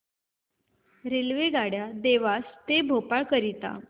रेल्वेगाड्या देवास ते भोपाळ करीता